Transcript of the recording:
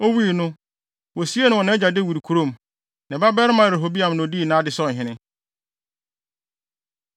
Owui no, wosiee no wɔ nʼagya Dawid kurom. Ne babarima Rehoboam na odii nʼade sɛ ɔhene.